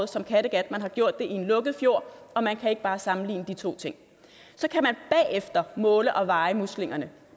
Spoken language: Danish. som kattegat man har gjort det i en lukket fjord og man kan ikke bare sammenligne de to ting så kan man bagefter måle og veje muslingerne